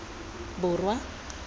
borwa